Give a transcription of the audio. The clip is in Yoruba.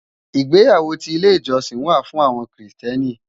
Igbéyàwó ti ilé ijòsín wá fún áwòn Kristièní